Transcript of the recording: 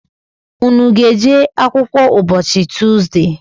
Unu ga-eje akwụkwọ ụbọchị Tuzde?